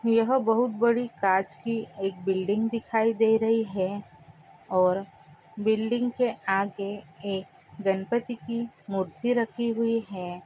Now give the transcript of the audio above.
यहा बोहउत बारी कच की एक बिल्डिंग दिखाई दे रही है और बिल्डिंग के आगे एक गणपती की मूर्ति राखी हुई है।